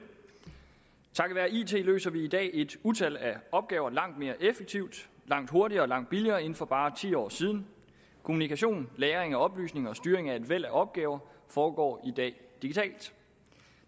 takket være it løser vi i dag et utal af opgaver langt mere effektivt langt hurtigere og langt billigere end for bare ti år siden kommunikation lagring af oplysninger og styring af et væld af opgaver foregår i dag digitalt